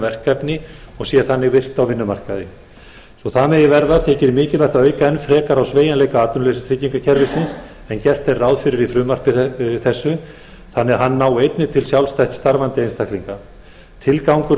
verkefni og sé þannig virkt á vinnumarkaði svo það megi verða þykir mikilvægt að auka enn frekar á sveigjanleika atvinnuleysistryggingakerfisins en gert er ráð fyrir í frumvarpi þessu þannig að það nái einnig til sjálfstætt starfandi einstaklinga tilgangur